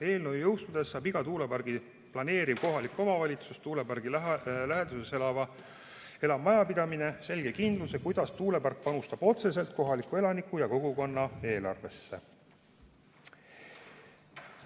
Eelnõu jõustudes saab tuuleparki planeerivas kohalikus omavalitsuses tuulepargi läheduses elav majapidamine kindluse, kuidas tuulepark panustab otseselt kohaliku elaniku ja kogukonna eelarvesse.